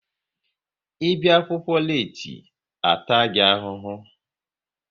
Ị bịa akwụkwọ leeti, a taa gị ahụhụ!